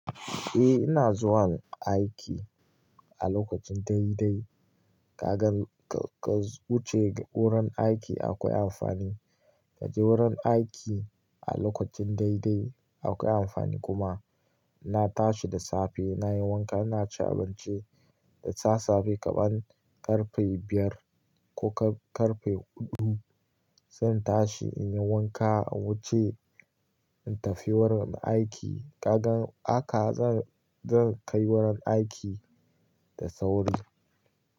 Eh ina zuwan aiki a lokacin dai dai. Kaga ka wuce wurin aiki akwai amfani kaje wurin aiki a lokacin dai dai akwai amfani kuma. Na tashi da safe nayi wanka naci abinci, da sassafe kaman karfe biyar ko karfe huɗu zan tashi inyi wanka in wuce in tafi wurin aiki. Kaga haka zan kai wurin aiki da sauri.